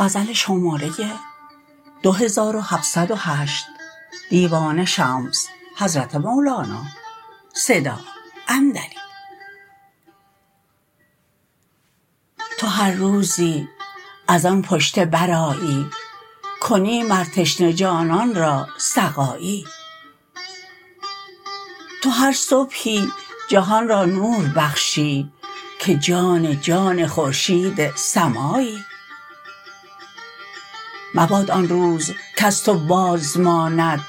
تو هر روزی از آن پشته برآیی کنی مر تشنه جانان را سقایی تو هر صبحی جهان را نور بخشی که جان جان خورشید سمایی مباد آن روز کز تو بازماند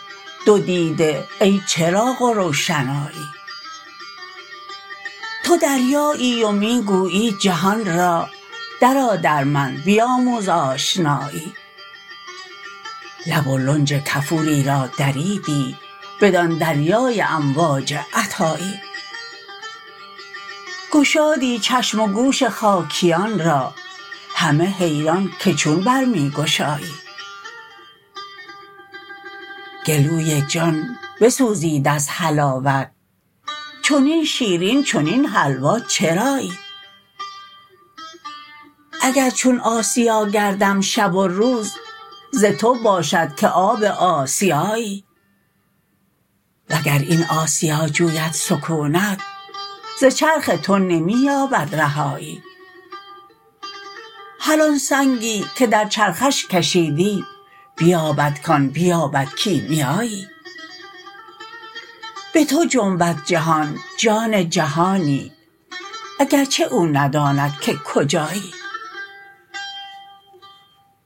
دو دیده ای چراغ و روشنایی تو دریایی و می گویی جهان را درآ در من بیاموز آشنایی لب و لنج کفوری را دریدی بدان دریای امواج عطایی گشادی چشم و گوش خاکیان را همه حیران که چون بر می گشایی گلوی جان بسوزید از حلاوت چنین شیرین چنین حلوا چرایی اگر چون آسیا گردم شب و روز ز تو باشد که آب آسیایی وگر این آسیا جوید سکونت ز چرخ تو نمی یابد رهایی هر آن سنگی که در چرخش کشیدی بیابد کان بیابد کیمیایی به تو جنبد جهان جان جهانی اگر چه او نداند که کجایی